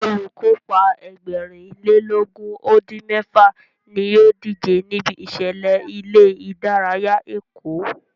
Olùkópa Ẹgbẹ̀rin lé lógún ó dín mẹ́fà ní ó díje níbi ìṣẹ̀lẹ̀ ilé ìdárayá Èkó